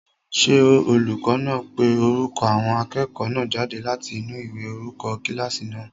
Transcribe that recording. Ṣé olùkọ́ náà ń pe orúkọ àwọn akẹ́kọ̀ọ́ náà jáde láti inú ìwé orúkọ kílásì náà?